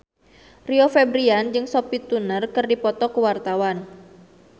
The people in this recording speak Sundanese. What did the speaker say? Rio Febrian jeung Sophie Turner keur dipoto ku wartawan